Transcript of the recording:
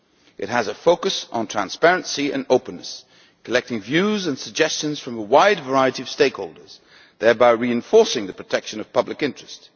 It has a focus on transparency and openness, collecting views and suggestions from a wide variety of stakeholders, thereby reinforcing the protection of public interest.